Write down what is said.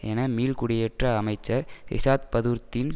என மீள் குடியேற்ற அமைச்சர் ரிஷாத் பதூர்தீன்